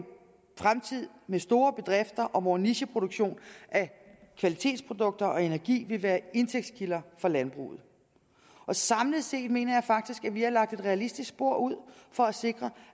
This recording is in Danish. fremtid med store bedrifter og hvor en nicheproduktion af kvalitetsprodukter og energi vil være indtægtskilder for landbruget samlet set mener jeg faktisk at vi har lagt et realistisk spor ud for at sikre